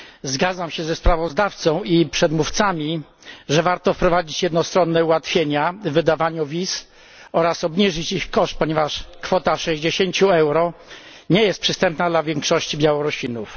Zgadzam się ze sprawozdawcą i przedmówcami, że warto wprowadzić jednostronne ułatwienia w wydawaniu wiz oraz obniżyć ich koszt, ponieważ kwota 60 euro nie jest przystępna dla większości Białorusinów.